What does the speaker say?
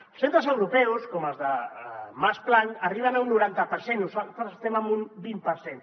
els centres europeus com els de max planck arriben a un noranta per cent nosaltres estem en un vint per cent